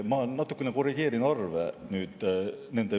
Ma natukene korrigeerin arve.